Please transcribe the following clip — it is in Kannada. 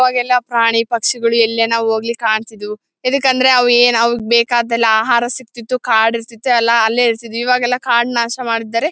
ಅವಾಗೆಲ್ಲ ಪ್ರಾಣಿ ಪಕ್ಷಿನ್ಗಳು ಎಲ್ಲೇನ ಹೋಗ್ಲಿ ಕಾಣ್ತಿದ್ವು ಎದ್ಕಕೆ ಅಂದ್ರೆ ಅವು ಏನು ಅವು ಬೇಕಾದ್ದೆಲ್ಲ ಆಹಾರ ಸಿಕ್ತಿತ್ತು ಕಾಡು ಇರ್ತಿತ್ತು ಎಲ್ಲ ಅಲ್ಲೇ ಇರ್ತಿತ್ತು ಇವಾಗೆಲ್ಲ ಕಾಡು ನಾಶ ಮಾಡಿದ್ದಾರೆ.